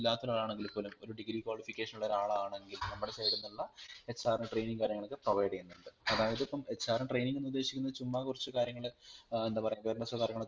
ഇല്ലാത്തൊരാളാണെങ്കിൽ പോലും ഒരു degree qualification ഉള്ള ഒരാളാണെങ്കിലൽ നമ്മുടെ side ൽ നിന്നുള്ള HRൻറെ training കാര്യങ്ങളൊക്കെ provide ചെയ്യുന്നുണ്ട് അതായതിപ്പം HR ൻറെ Training എന്ന് ഉദ്ദേശിക്കുന്നത് ചുമ്മാ കുറച് കാര്യങ്ങൾ ഏർ എന്താ പറയാ awareness ഒ കാര്യങ്ങളും